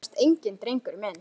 Undrast enginn, drengur minn.